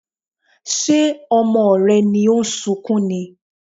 Ṣé ọmọ rẹ ni ó ń sunkún ni?